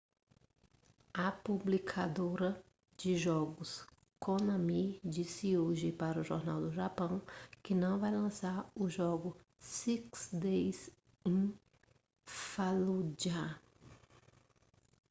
a publicadora de jogos konami disse hoje para um jornal do japão que não vai lançar o jogo six days in fallujah